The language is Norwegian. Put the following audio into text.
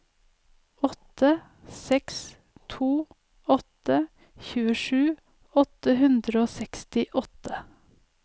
åtte seks to åtte tjuesju åtte hundre og sekstiåtte